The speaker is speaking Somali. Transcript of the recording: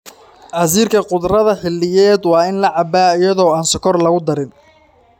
Casiirka khudradda xilliyeed waa in la cabbaa iyada oo aan sonkor lagu darin.